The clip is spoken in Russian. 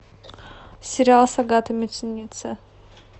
сериал с агатой муцениеце